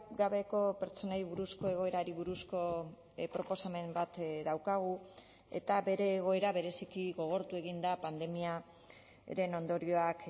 gabeko pertsonei buruzko egoerari buruzko proposamen bat daukagu eta bere egoera bereziki gogortu egin da pandemiaren ondorioak